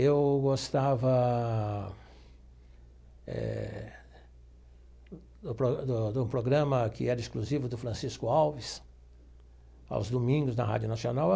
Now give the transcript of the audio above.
Eu gostava eh do pro do do programa que era exclusivo do Francisco Alves, aos domingos, na Rádio Nacional.